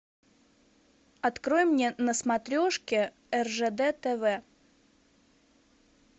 открой мне на смотрешке ржд тв